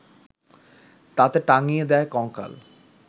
তাতে টাঙিয়ে দেয় কঙ্কাল